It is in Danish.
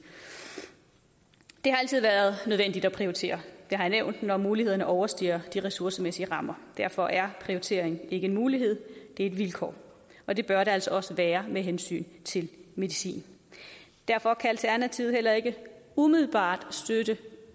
det har altid været nødvendigt at prioritere det jeg nævnt når mulighederne overstiger de ressourcemæssige rammer derfor er prioritering ikke en mulighed det er et vilkår og det bør det altså også være med hensyn til medicin derfor kan alternativet heller ikke umiddelbart støtte